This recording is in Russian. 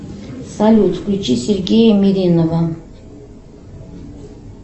салют включи сергея меринова